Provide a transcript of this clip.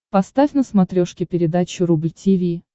поставь на смотрешке передачу рубль ти ви